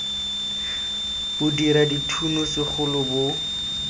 bo dira dithuno segolo bo